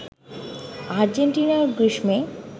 আর্জেন্টিনার গ্রীষ্মে